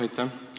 Aitäh!